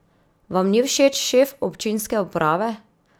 Vam ni všeč šef občinske uprave?